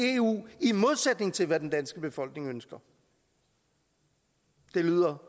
i eu i modsætning til hvad den danske befolkning ønsker det lyder